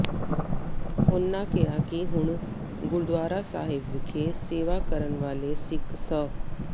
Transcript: ਉਨ੍ਹਾਂ ਕਿਹਾ ਕਿ ਹੁਣ ਗੁਰਦੁਆਰਾ ਸਾਹਿਬ ਵਿਖੇ ਸੇਵਾ ਕਰਨ ਵਾਲੇ ਸਿੱਖ ਸ